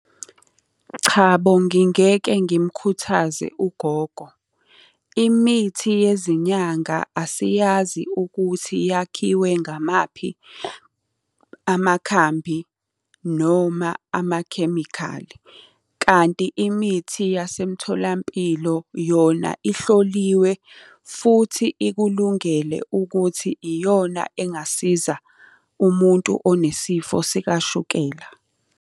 Chabo, ngingeke ngimukhuthaze ugogo. Imithi yezinyanga asiyazi ukuthi yakhiwe ngamaphi amakhambi noma amakhemikhali. Kanti imithi yasemtholampilo yona ihloliwe, futhi ikulungele ukuthi iyona engasiza umuntu onesifo sikashukela.